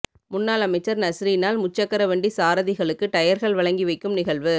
முன்னாள் அமைச்சர் நஸீரினால் முச்சக்கரவண்டி சாரதிகளுக்கு டயர்கள் வழங்கி வைக்கும் நிகழ்வு